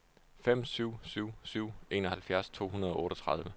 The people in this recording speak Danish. fem syv syv syv enoghalvfjerds to hundrede og otteogtredive